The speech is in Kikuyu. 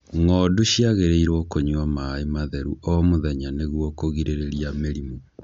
Ng'ondu ciagĩrĩirwo nĩ kũnyua maaĩ matheru o mũthenya nĩguo kũrigĩrĩria mĩrimũ.